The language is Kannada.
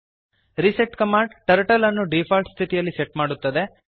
ರಿಸೆಟ್ ಕಮಾಂಡ್ ಟರ್ಟಲ್ ಅನ್ನು ಡಿಫಾಲ್ಟ್ ಸ್ಥಿತಿಯಲ್ಲಿ ಸೆಟ್ ಮಾಡುತ್ತದೆ